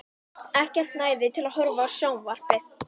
Ekkert næði til að horfa á sjónvarpið.